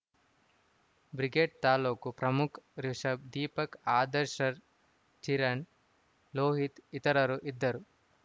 brigade ತಾಲೂಕು ಪ್ರಮುಖ್‌ ರಿಷಬ್‌ ದೀಪಕ್‌ ಆದರ್ಶರ್ ಕಿರಣ್‌ ಲೋಹಿತ್‌ ಇತರರು ಇದ್ದರು